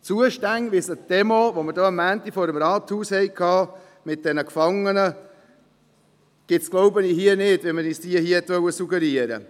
Zustände, wie sie uns die Demo, die wir am Montag hier vor dem Rathaus hatten, mit diesen Gefangenen suggerieren wollte, gibt es hier wohl nicht.